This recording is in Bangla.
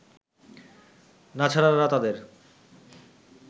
নাছারারা তাদের